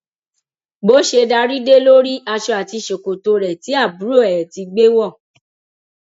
bó ṣe darí dé ló rí aṣọ àti ṣòkòtò rẹ tí àbúrò ẹ ti gbé wọ